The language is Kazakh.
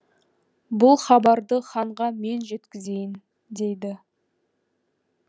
бұл хабарды ханға мен жеткізейін дейді